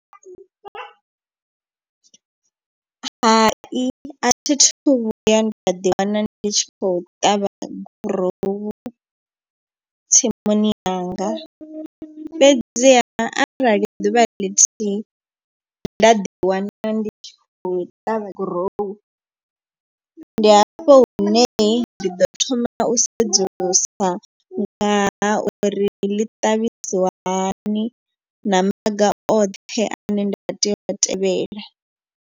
Hai a thi thu vhuya nda ḓi wana ndi tshi kho ṱavha gurowu tsimuni yanga. Fhedziha arali ḓuvha lithihi nda ḓi wana ndi khou ṱavha gurowu ndi hafho hune ndi ḓo thoma u sedzulusa ngaha uri ḽi ṱavhisiwa hani na maga oṱhe ane nda tea u a tevhela.